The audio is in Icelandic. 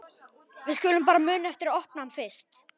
Við skulum bara muna eftir að opna hann fyrst!